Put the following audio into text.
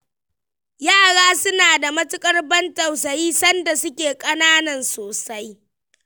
Yara suna da matuƙar ban tausayi sanda suke ƙananan sosai.